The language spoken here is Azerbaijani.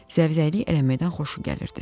Zəvzəklik eləməkdən xoşu gəlirdi.